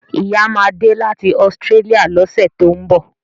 Ìyá ma de láti Australia lọ́sẹ̀ tó ń bọ̀